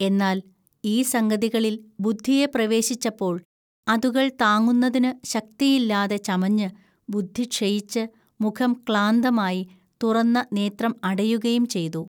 എന്നാൽ ഈ സംഗതികളിൽ ബുദ്ധിയെ പ്രവേശിച്ചപ്പോൾ അതുകൾ താങ്ങുന്നതിനു ശക്തിയില്ലാതെ ചമഞ്ഞ്, ബുദ്ധി ക്ഷയിച്ച്, മുഖം ക്ലാന്തമായി, തുറന്ന നേത്രം അടയുകയും ചെയ്തു